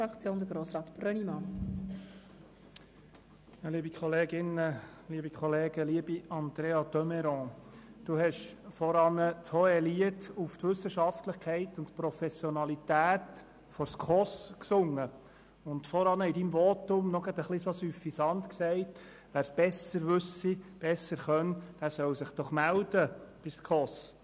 Andrea de Meuron, Sie haben vorhin das Hohelied auf die Wissenschaftlichkeit und Professionalität der SKOS gesungen und vorhin in Ihrem Votum etwas süffisant gesagt, wer es besser wisse, solle sich doch bei der SKOS melden.